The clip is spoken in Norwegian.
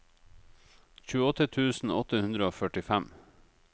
tjueåtte tusen åtte hundre og førtifem